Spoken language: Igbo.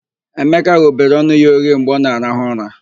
Emeka ghobere ọnụ ya oghe mgbe ọ na-arahụ ụra.